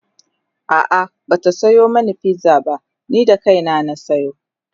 a'a Bata Sayo mani pizza ba ni da kaina na sayo